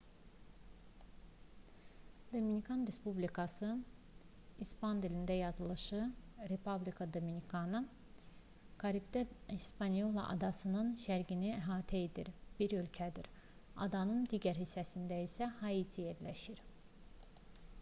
dominikan respublikası i̇span dilində yazılışı: república dominicana karipdə hispanyola adasının şərqini əhatə edən bir ölkədir adanın digər hissəsində isə haiti yerləşir